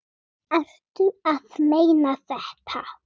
Ertu að meina þetta?